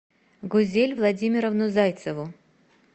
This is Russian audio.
гузель владимировну зайцеву